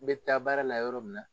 N bɛ taa baara la yɔrɔ min la